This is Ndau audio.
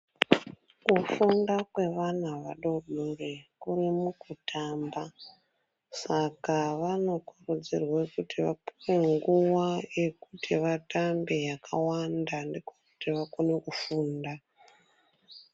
Kufunda kwevana adodori kuri mukutamba saka vanokurudzirwe kuti vapuwe nguwa yekuti vatambe yakawanda ndiko kuti vakone kufunda.